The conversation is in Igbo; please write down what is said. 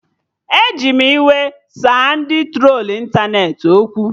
Eji m iwe saa ndị trolu ịntanetị okwu